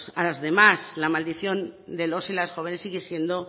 a las demás la maldición de los y las jóvenes sigue siendo